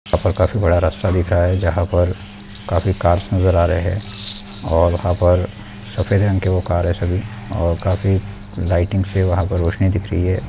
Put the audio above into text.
यहाँ पर काफी बड़ा रस्ता दिख रहा है जहाँ पर काफी कार्स नजर आ रहे हैं और यहाँ पर सफेद रंग की कार है सभी और काफी लाइटिंग से वहाँ पर रोशनी दिख रही है।